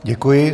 Děkuji.